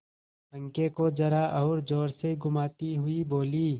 पंखे को जरा और जोर से घुमाती हुई बोली